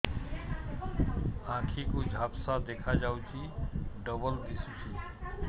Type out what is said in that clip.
ଆଖି କୁ ଝାପ୍ସା ଦେଖାଯାଉଛି ଡବଳ ଦିଶୁଚି